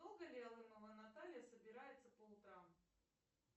долго ли алымова наталья собирается по утрам